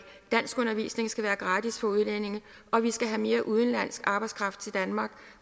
danskundervisning skal være gratis for udlændinge og vi skal have mere udenlandsk arbejdskraft til danmark